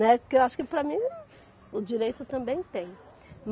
Né, porque eu acho que para mim o direito também tem.